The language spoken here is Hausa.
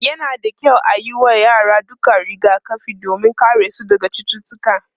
yana da kyau ayi wa yara dukkan rigakafi domin ya karesu daga cututtuka